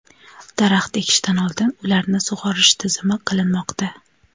daraxt ekishdan oldin ularni sug‘orish tizimi qilinmoqda.